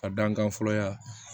A dankan fɔlɔ ya